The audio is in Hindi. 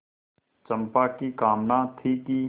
चंपा की कामना थी कि